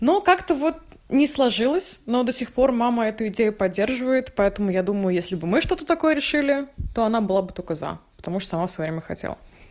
но как-то вот не сложилось но до сих пор мама эту идею поддерживает поэтому я думаю если бы мы что-то такое решили то она была бы только за потому что сама в своё время хотела